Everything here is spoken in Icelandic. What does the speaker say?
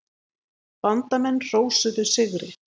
Bandamenn hrósuðu sigri.